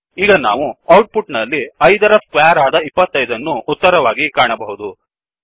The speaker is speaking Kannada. ಈಗ ನಾವು ಔಟ್ ಪುಟ್ ನಲ್ಲಿ 5 ರ ಸ್ಕ್ವೇರ್ ಆದ್ 25 ಅನ್ನು ಉತ್ತರವಾಗಿ ಕಾಣಬಹುದು